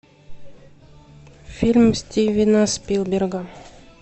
фильм стивена спилберга